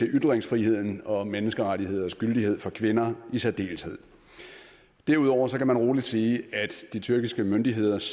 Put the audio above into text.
ytringsfriheden og menneskerettigheders gyldighed for kvinder i særdeleshed derudover kan man rolig sige at de tyrkiske myndigheders